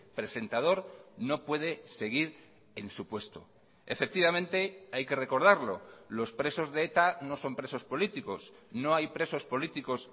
presentador no puede seguir en su puesto efectivamente hay que recordarlo los presos de eta no son presos políticos no hay presos políticos